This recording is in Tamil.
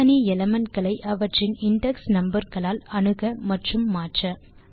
தனித்தனி எலிமெண்ட் களை அவற்றின் இண்டெக்ஸ் நம்பர் களால் அணுக மற்றும் மாற்ற